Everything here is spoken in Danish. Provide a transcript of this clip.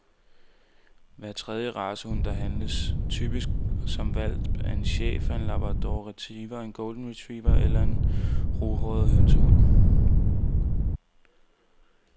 Hver tredje racehund, der handles, typisk som hvalp, er en schæfer, en labrador retriever, en golden retriever eller en ruhåret hønsehund.